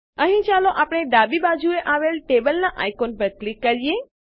અહીં ચાલો આપણે ડાબી બાજુએ આવેલ ટેબલનાં આઇકોન ઉપર ક્લિક કરીએ